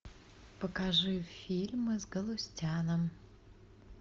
покажи фильмы с галустяном